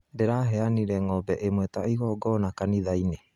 Ndĩraheanire ng'ombe ĩmwe ta igongona kanithainĩ